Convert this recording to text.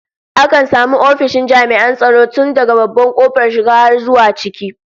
Akan samu ofishin jami'an tsaro tun daga babban kofar shiga har zuwa ciki